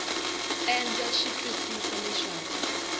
e ndza swi twisisa leswaku